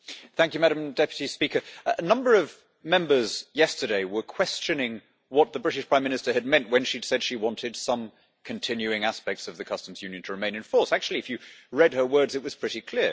Madam President, a number of members yesterday were questioning what the British Prime Minister had meant when she said she wanted some continuing aspects of the Customs Union to remain in force. Actually if you read her words it was pretty clear.